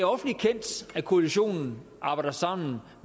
det koalitionen arbejder sammen